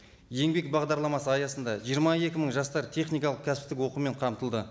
еңбек бағдарламасы аясында жиырма екі мың жастар техникалық кәсіптік оқумен қамтылды